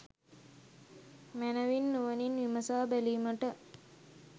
මැනවින් නුවණින් විමසා බැලීමට